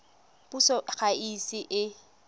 puso ga e ise e